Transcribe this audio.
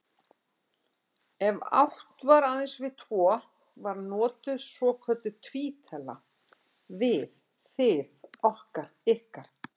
Ef átt var aðeins við tvo var notuð svokölluð tvítala, við, þið, okkar, ykkar.